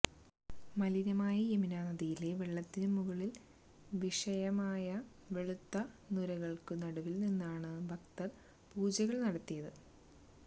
മലിനമായ യമുന നദിയിലെ വെളളത്തിനു മുകളിൽ വിഷയമമായ വെളുത്ത നുരകൾക്കു നടുവിൽനിന്നാണ് ഭക്തർ പൂജകൾ നടത്തിയത്